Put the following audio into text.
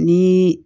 Ni